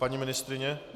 Paní ministryně?